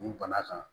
Nin bana kan